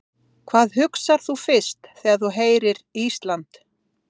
Hvað hugsar þú fyrst þegar þú heyrir Ísland?